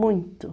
Muito.